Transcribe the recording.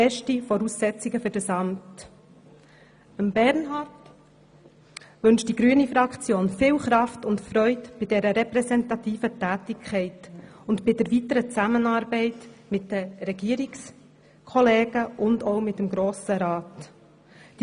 Die grüne Fraktion wünscht Bernhard viel Kraft und Freude bei dieser repräsentativen Tätigkeit ebenso wie bei der weiteren Zusammenarbeit mit den Regierungskollegen und dem Grossen Rat.